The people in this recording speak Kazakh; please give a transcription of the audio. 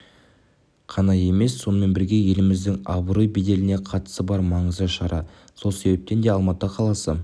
қана емес сонымен бірге еліміздің абырой-беделіне қатысы бар маңызды шара сол себептен де алматы қаласы